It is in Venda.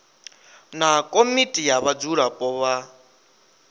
na komiti ya vhadzulapo vha